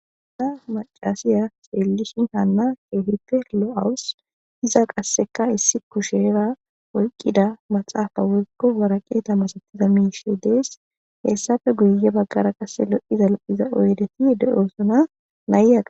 Ha macasya xelishin kehipe lo'awus iza qase issi kushera maxapa woyiko wariqate masatizaysa misheyi de'es hesape guye bagara lo'iza oyideti oyikidieti de'es